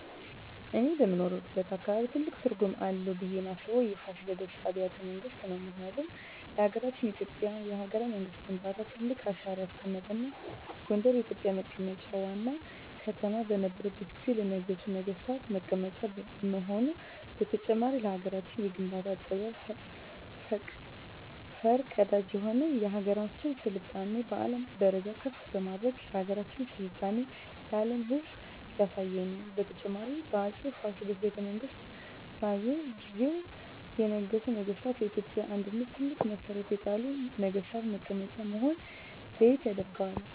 እኔ በምኖርበት አካባቢ ትልቅ ትርጉም አለው ብየ ማስበው የፋሲለደስ አቢያተ መንግስት ነው ምክንያቱም ለሀገረችን የኢትዮጵያ የሀገረ መንግስት ግንባታ ትልቅ አሻራ ያስቀመጠ እና ጎንደር የኢትዮጵ መቀመጫ ዋና ከተማ በነረችት ጊዜ ለነገሡ ነጠገስታት መቀመጫ መሆኑ በተጨማሪም ለሀገራችን የግንባታ ጥበብ ፈር ቀዳጅ የሆነ የሀገራችን ስልጣኔ በአለም ደረጃ ከፍ በማድረግ የሀገራችን ስልጣኔ ለአም ህዝብ ያሳየ ነው። በተጨማሪም በ አፄ ፋሲል ቤተመንግስት በእየ ጊዜው የነገሱ ነገስታ ለኢትዮጵያ አንድነት ትልቅ መሠረት የጣሉ ነግስታት መቀመጫ መሆነ ለየት ያደርገዋል።